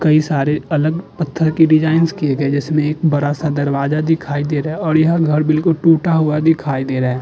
कई सारे अलग पत्थर की डिजाइंस किए गए हैं जिसमें एक बड़ा सा दरवाजा दिखाई दे रहा है और यह घर बिल्कुल टूटा हुआ दिखाई दे रहा है।